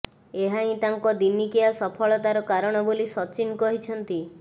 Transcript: ଏହା ହିଁ ତାଙ୍କ ଦିନିକିଆ ସଫଳତାର କାରଣ ବୋଲି ସଚିନ କହିଛନ୍ତି